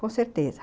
Com certeza.